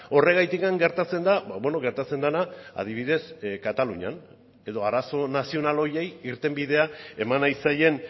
horregatik gertatzen da gertatzen dena adibidez katalunian edo arazo nazional horiei irtenbidea eman nahi zaien